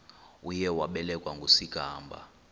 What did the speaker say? uye wabelekwa ngusigwamba